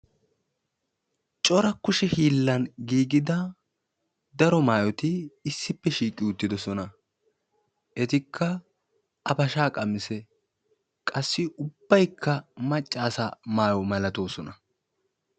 cora kushe hiilan giigida daro maayyoti issippe shiiqi uttidoosan etikka abashsha qamisse qassi ubbaykka maccassa maayyo malatoosona